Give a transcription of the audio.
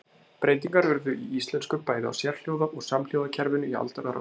Breytingar urðu í íslensku bæði á sérhljóða- og samhljóðakerfinu í aldanna rás.